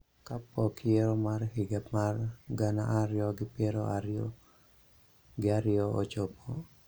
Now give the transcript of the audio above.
ka pok yiero mar higa mar gana ariyo gi piero ariyo gi ariyo ochopo.